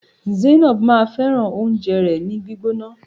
Zainab máa fẹràn oúnjẹ rẹ ni gbígbóná.